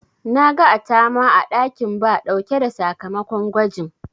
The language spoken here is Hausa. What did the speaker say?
Na ga Atama a ɗakin Ba ɗauke da sakamakon gwajin.